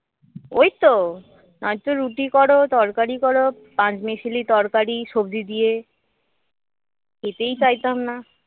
ওইতো নয়তো রুটি করো তরকারি করো পাঁচমিশালি তরকারি সবজি দিয়ে খেতেই চাইত না